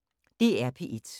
DR P1